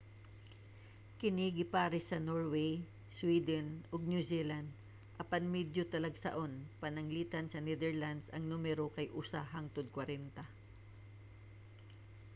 kini gipares sa norway sweden ug new zealand apan medyo talagsaon pananglitan sa netherlands ang numero kay usa hangtod kwarenta